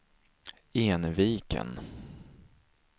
Enviken